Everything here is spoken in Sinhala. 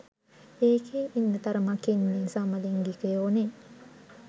ඒකෙ ඉන්න තරමක් ඉන්නෙ සමලින්ගිකයොනෙ.